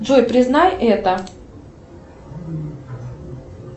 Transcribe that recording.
джой признай это